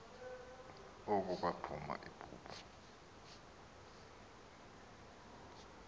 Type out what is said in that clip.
oko kwaphuma ibubu